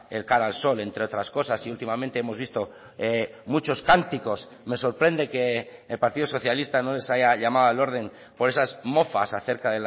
el cara al sol entre otras cosas y últimamente hemos visto muchos cánticos me sorprende que el partido socialista no les haya llamado al orden por esas mofas acerca